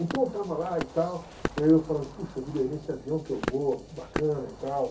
Então eu estava lá e tal, eu falando, puxa vida, nesse avião que eu vou, que bacana e tal.